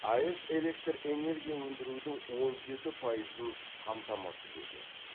аэс электр энергия өндірудің он жеті пайызын қамтамасыз етеді